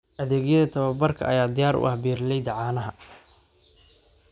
Adeegyada tababarka ayaa diyaar u ah beeralayda caanaha.